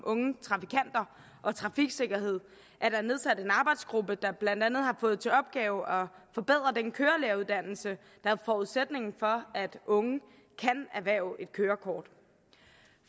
unge trafikanter og trafiksikkerhed er der nedsat en arbejdsgruppe der blandt andet har fået til opgave at forbedre den kørelæreruddannelse der er forudsætningen for at unge kan erhverve et kørekort